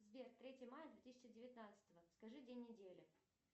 сбер третье мая две тысячи девятнадцатого скажи день недели